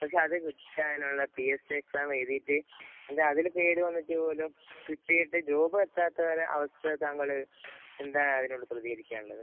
പക്ഷേ അത് കിട്ടാനുള്ള പിഎസ് സി എക്സാം എഴുതിയിട്ട് അതില്‍ പേര് വന്നിട്ട് പോലും, കിട്ടിയിട്ട് ജോബ്‌ എത്താത്ത അവസ്ഥ താങ്കള് എന്താണ് അതിനോട് പ്രതീകരിക്കാന്‍ ഉള്ളത്.